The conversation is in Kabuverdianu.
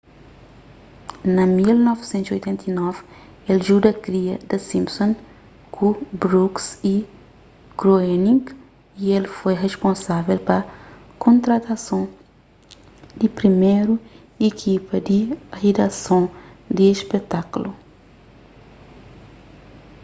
na 1989 el djuda kria the simpsons ku brooks y groening y el foi risponsável pa kontratason di priméru ikipa di ridason di spetákulu